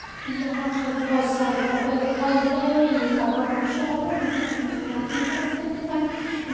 यहाँ पर बोहोत सारे कपड़े दिखाई दे रहे हैं। यह कपड़ो की शॉप है। यहाँ पे मुझे लड़कियों के कपड़े दिखाई --